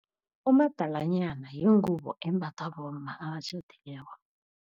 Umadalanyana yingubo embathwa bomma abatjhadileko.